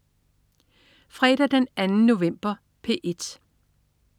Fredag den 2. november - P1: